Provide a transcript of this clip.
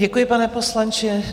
Děkuji, pane poslanče.